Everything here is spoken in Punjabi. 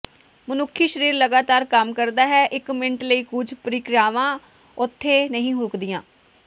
ਮਨੁੱਖੀ ਸਰੀਰ ਲਗਾਤਾਰ ਕੰਮ ਕਰਦਾ ਹੈ ਇਕ ਮਿੰਟ ਲਈ ਕੁਝ ਪ੍ਰਕ੍ਰਿਆਵਾਂ ਉਥੇ ਨਹੀਂ ਰੁਕਦੀਆਂ